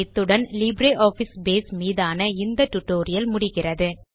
இத்துடன் LibreOffice Base மீதான இந்த ஸ்போக்கன் டியூட்டோரியல் முடிகிறது